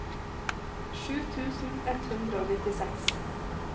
sju tusen ett hundre og nittiseks